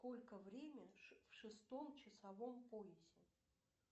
сколько время в шестом часовом поясе